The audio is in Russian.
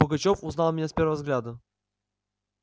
пугачёв узнал меня с первого взгляда